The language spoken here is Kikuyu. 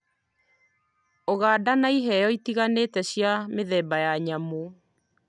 Ũganda na ĩheo ĩtiganite cia mĩthemba ya nyamu.